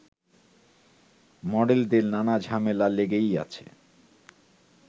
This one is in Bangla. মডেলদের নানা ঝামেলা লেগেই আছে